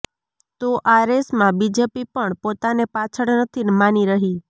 તો આ રેસમાં બીજેપી પણ પોતાને પાછળ નથી માની રહી